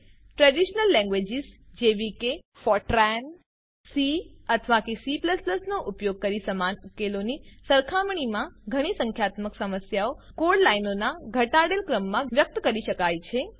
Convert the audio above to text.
traditional languages જેવી કે Fortran C અથવા સીપ્લસપ્લસનો ઉપયોગ કરી સમાન ઉકેલોની સરખામણીમાં ઘણી સંખ્યાત્મક સમસ્યાઓને કોડ લાઈનોનાં ઘટાડેલ ક્રમમાં વ્યક્ત કરી શકાય છે